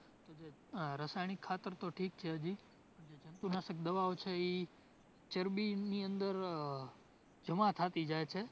આહ રસાયણિક ખાતર તો ઠીક છે હજી, પણ જે જંતુનાશક દવાઓ છે ઇ ચરબીની અંદર આહ જમા થતી જાય છે